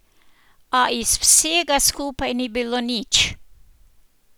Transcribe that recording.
A iz vsega skupaj ni bilo nič.